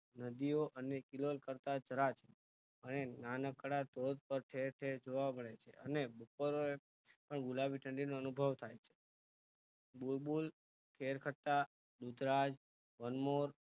નદીઓ અને કિલોલ કરતા અહીં નાનકડા ધોધ પર ઠેર ઠેર જોવા મળે છે અને બપોરે ગુલાબી ઠંડીનો અનુભવ થાય છે બુલબુલ કેરખટ્ટા ધુતરાજ વનમોર